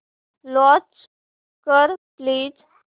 launch कर please